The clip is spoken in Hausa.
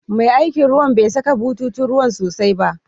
Mai aikin ruwan bai saka bututun ruwan sosai ba.